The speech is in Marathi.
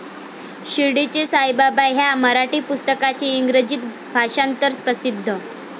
शिर्डीचे साईबाबा ह्या मराठी पुस्तकाचे इंग्रजीत भाषांतर प्रसिद्ध.